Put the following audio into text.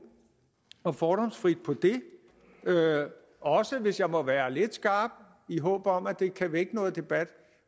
og fordomsfrit på det og hvis jeg må være lidt skrap i håb om at det kan vække noget debat